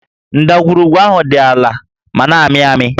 Ndagwurugwu ahụ dị àlà ma na-ámị̀ ámị̀